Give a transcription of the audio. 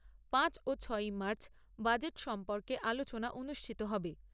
পাঁচই ও ছয়ই মার্চ বাজেট সম্পর্কে আলোচনা অনুষ্ঠিত হবে।